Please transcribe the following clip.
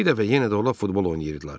Bir dəfə yenə də onlar futbol oynayırdılar.